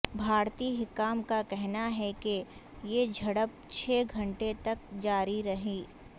بھارتی حکام کا کہنا ہے کہ یہ جھڑپ چھ گھنٹے تک جاری رہی